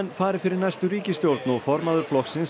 fari fyrir næstu ríkisstjórn og formaður flokksins